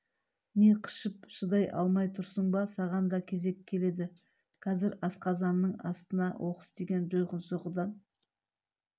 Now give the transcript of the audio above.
не қышып шыдай алмай тұрсың ба саған да кезек келеді қазір асқазанның астынан оқыс тиген жойқын соққыдан